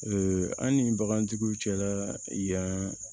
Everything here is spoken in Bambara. an ni bagantigiw cɛla la yan